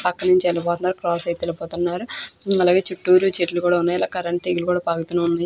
పక్కన నుంచే వెళ్లిపోతున్నారు క్రాస్ అయితే వెళ్లిపోతున్నారు అలాగే చూట్టూరు చెట్లు కూడా ఉన్నాయి కరెంటు తీగలు కూడా --